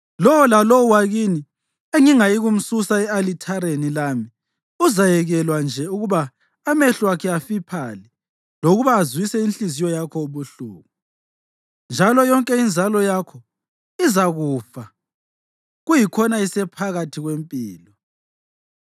Lowo lalowo wakini engingayikumsusa e-alithareni lami uzayekelwa nje ukuba amehlo akhe afiphale lokuba azwise inhliziyo yakho ubuhlungu, njalo yonke inzalo yakho izakufa kuyikhona isephakathi kwempilo.